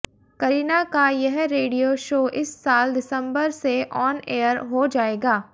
करीना का यह radio show इस साल दिसंबर से ऑन एयर हो जाएगा